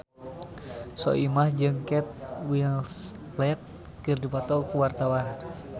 Soimah jeung Kate Winslet keur dipoto ku wartawan